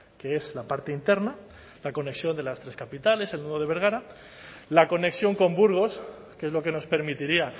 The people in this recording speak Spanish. que es la parte interna la conexión de las tres capitales el nudo de bergara la conexión con burgos que es lo que nos permitiría